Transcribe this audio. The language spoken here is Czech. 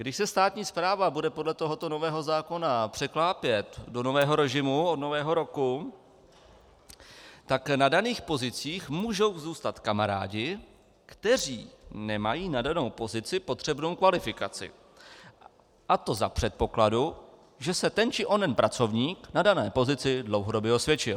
Když se státní správa bude podle tohoto nového zákona překlápět do nového režimu od Nového roku, tak na daných pozicích můžou zůstat kamarádi, kteří nemají na danou pozici potřebnou kvalifikaci, a to za předpokladu, že se ten či onen pracovník na dané pozici dlouhodobě osvědčil.